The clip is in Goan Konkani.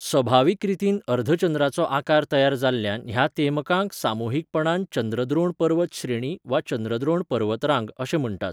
सभावीक रितीन अर्धचंद्राचो आकार तयार जाल्ल्यान ह्या तेमकांक सामुहीकपणान चंद्रद्रोण पर्वत श्रेणी वा चंद्रद्रोण पर्वतरांग अशें म्हण्टात.